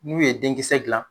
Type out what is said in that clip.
N'u ye den kisɛ dilan